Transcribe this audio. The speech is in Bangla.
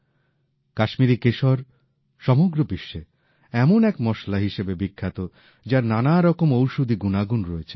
কাশ্মীরি কেশর সমগ্র বিশ্বে এমন এক মশলা হিসেবে বিখ্যাত যার নানা রকম ঔষধি গুনাগুন আছে